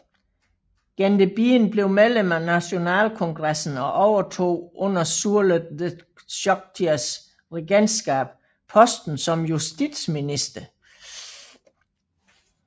Gendebien blev medlem af nationalkongresen og overtog under Surlet de Chokiers regentskab posten som justitsminister